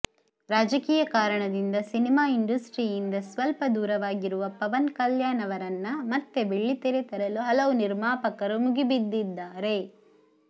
ರಾಜಕೀಯ ಕಾರಣದಿಂದ ಸಿನಿಮಾ ಇಂಡಸ್ಟ್ರಿಯಿಂದ ಸ್ವಲ್ಪ ದೂರವಾಗಿರುವ ಪವನ್ ಕಲ್ಯಾಣ್ ಅವರನ್ನ ಮತ್ತೆ ಬೆಳ್ಳಿತೆರೆ ತರಲು ಹಲವು ನಿರ್ಮಾಪಕರು ಮುಗಿಬಿದ್ದಿದ್ದಾರೆ